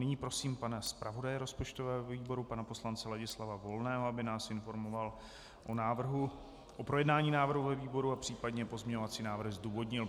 Nyní prosím pana zpravodaje rozpočtového výboru, pana poslance Ladislava Volného, aby nás informoval o návrhu - o projednání návrhu ve výboru a případně pozměňovací návrh zdůvodnil.